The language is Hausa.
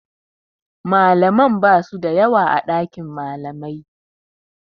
Malamai basu da yawa a ɗakin malamai.